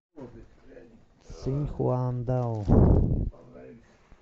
циньхуандао